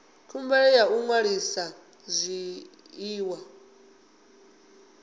khumbelo ya u ṅwalisa zwiḽiwa